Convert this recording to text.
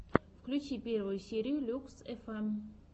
включи первую серию люкс фм